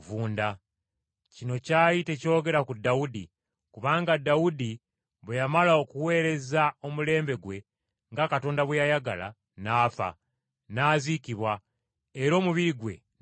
“Kino kyali tekyogera ku Dawudi, kubanga Dawudi bwe yamala okuweereza omulembe gwe nga Katonda bwe yayagala, n’afa, n’aziikibwa, era omubiri gwe ne guvunda.